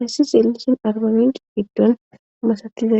hayssi zeellishin arbamin giddun masatizae.